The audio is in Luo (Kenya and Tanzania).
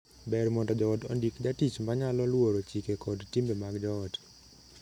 Ber mondo joot ondik jatich ma nyalo luoro chike kod timbe mag joot.